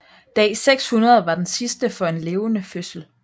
Dag 600 var den sidste for en levende fødsel